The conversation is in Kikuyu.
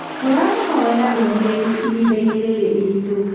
Tũramũhoera ũũmĩrĩrũ ihinda-inĩ rĩrĩ iritũ.